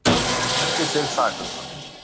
Lýsti sig saklausan